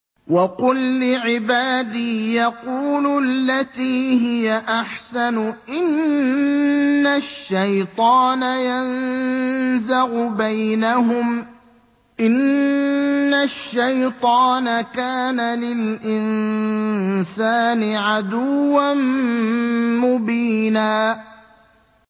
وَقُل لِّعِبَادِي يَقُولُوا الَّتِي هِيَ أَحْسَنُ ۚ إِنَّ الشَّيْطَانَ يَنزَغُ بَيْنَهُمْ ۚ إِنَّ الشَّيْطَانَ كَانَ لِلْإِنسَانِ عَدُوًّا مُّبِينًا